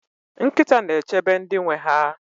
nkịta na-echebe ndị nwe ha